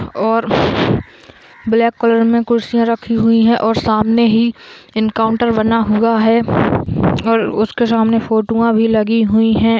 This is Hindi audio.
और ब्लैक कलर में कुर्सिया रखी हुई है और सामने ही इनकाउंटर बना हुआ है और उसके सामने फोटुवो भी लगी हुई है।